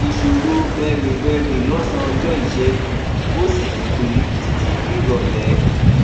ìṣòro bẹrè bẹrè lọsán ọjọ ìṣẹgun ó sì pé títí dirọlẹ